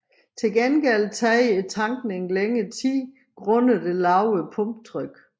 Til gengæld tager tankningen længere tid grundet det lavere pumpetryk